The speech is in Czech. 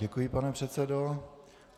Děkuji, pane předsedo.